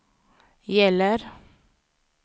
gäller